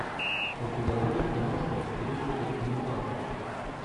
у тебя будет киношка в стилистике документалки